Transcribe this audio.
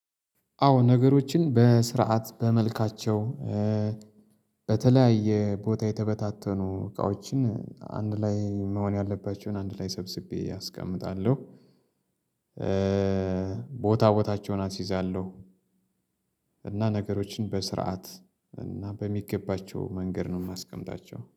አዎ ነገሮችን በስርዓት በመልካቸው በተለያየ ቦታ የተበታተኑ እቃዎችን አንድ ላይ መሆን ያለባቸውን አንድ ላይ ሰብስቤ አስቀምጣለሁ ቦታ ቦታቸውን አስይዛለሁ። እና ነገሮችን በስርዓት እና በሚገባቸው መንገድ ነው የማስቀምጣቸው